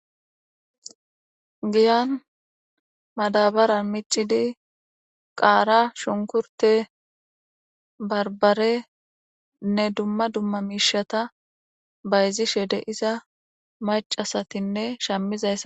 giyan madabaran micidi qaara shunkurte barbarenne dumma dumma miishata bayzi shede iza macasatinne shammizays